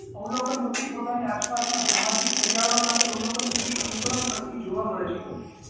અવલોકન વ્યક્તિ પોતાની આસપાસના સામાજિક પર્યાવરણ માંથી અવલોકન કરી અનુકરણ કરતી જોવા મળે છે